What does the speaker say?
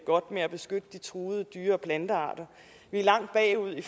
godt med at beskytte de truede dyre og plantearter vi er langt bagud i